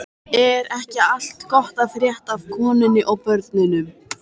Er ekki allt gott að frétta af konunni og börnunum?